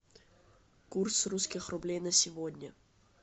курс русских рублей на сегодня